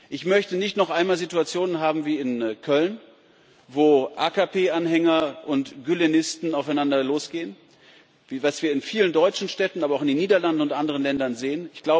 Ich möchte nicht noch einmal Situationen haben wie in Köln, wo AKP Anhänger und Gülenisten aufeinander losgehen, was wir in vielen deutschen Städten, aber auch in den Niederlanden und anderen Ländern sehen.